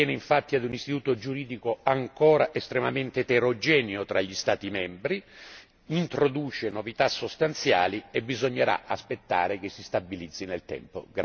attiene infatti a un istituto giuridico ancora estremamente eterogeneo fra gli Stati membri e, poiché introduce novità sostanziali, occorre aspettare che si stabilizzi nel tempo.